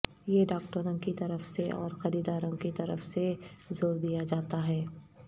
یہ ڈاکٹروں کی طرف سے اور خریداروں کی طرف سے زور دیا جاتا ہے